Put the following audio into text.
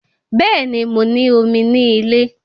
Bẹ́ẹ̀ni, mo ní omi ní ilé